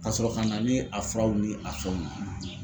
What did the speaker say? Ka sɔrɔ ka na ni a furaw ni a fɛnw ye.